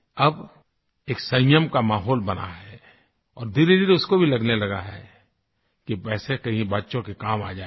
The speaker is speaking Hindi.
अब एक संयम का माहौल बना है और धीरेधीरे उसको भी लगने लगा है कि पैसे कहीं बच्चों के काम आ जायेंगे